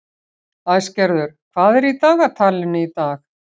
Æsgerður, hvað er í dagatalinu í dag?